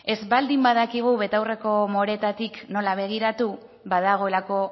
ez baldin badakigu betaurreko moreetatik nola begiratu badagoelako